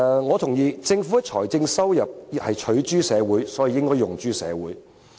我同意政府的財政收入是取諸社會，所以應要用諸社會。